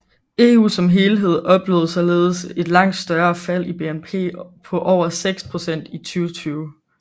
EU som helhed oplevede således et langt større fald i BNP på over 6 procent i 2020